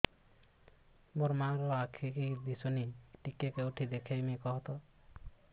ମୋ ମା ର ଆଖି କି ଦିସୁନି ଟିକେ କେଉଁଠି ଦେଖେଇମି କଖତ